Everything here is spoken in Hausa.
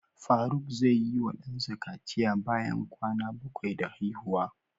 Faruk zai yi wa dansa kaciya bayan kwana bakwai da haihuwa.